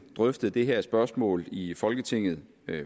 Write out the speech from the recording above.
drøftet det her spørgsmål i folketinget